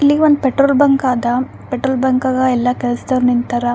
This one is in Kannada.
ಇಲ್ಲಿ ಒಂದ್ ಪೆಟ್ರೋಲ್ ಬಂಕ್ ಅದ ಪೆಟ್ರೋಲ್ ಬಂಕ್ ಅಗ ಎಲ್ಲ ಕೆಲ್ಸದವರು ನಿಂತರ .